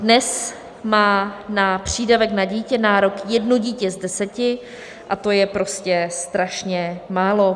Dnes má na přídavek na dítě nárok jedno dítě z deseti a to je prostě strašně málo.